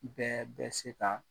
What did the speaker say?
Bɛɛ bɛ se ka